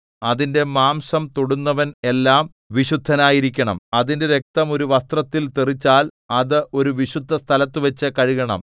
അതിന്റെ മാംസം തൊടുന്നവൻ എല്ലാം വിശുദ്ധനായിരിക്കണം അതിന്റെ രക്തം ഒരു വസ്ത്രത്തിൽ തെറിച്ചാൽ അത് ഒരു വിശുദ്ധസ്ഥലത്തുവച്ചു കഴുകണം